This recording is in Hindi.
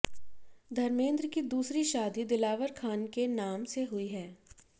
धर्मेंद्र की दूसरी शादी दिलावर खान के नाम से हुई है